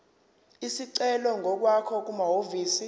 isicelo ngokwakho kumahhovisi